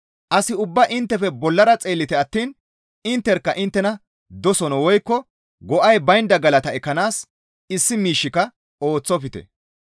As ubbaa inttefe bollara xeellite attiin intterkka inttena doson woykko go7ay baynda galata ekkanaas issi miishshika ooththofte.